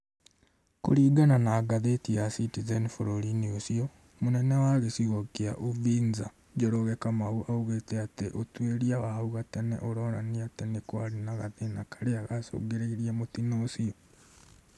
Kũringana na ngathĩti ya CITIZEN bũrũri-inĩ ũcio , mũnene wa gĩcigo gĩa Uvinza, Njoroge Kamau aũgĩte atĩ ũtuĩria wa hau gatene ũronanĩa atĩ nĩ kwarĩ na gathĩna karĩa gacũngĩrĩirie mũtĩno ũcĩo